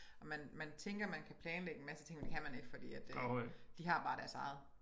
Man man tænker man kan planlægge en masse ting men det kan man ikke fordi at øh de har bare deres eget